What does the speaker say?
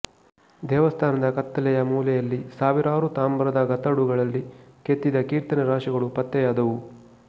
ದೇವಸ್ಥಾನದ ಕತ್ತಲೆಯ ಮೂಲೆಯಲ್ಲಿ ಸಾವಿರಾರು ತಾಮ್ರದ ಗತಡುಗಳಲ್ಲಿ ಕೆತ್ತಿದ ಕೀರ್ತನೆ ರಾಶಿಗಳು ಪತ್ತೆಯಾದವು